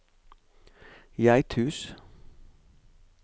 Geithus